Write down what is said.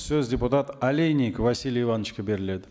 сөз депутат олейник василий ивановичке беріледі